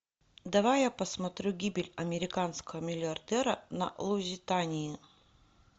давай я посмотрю гибель американского миллиардера на лузитании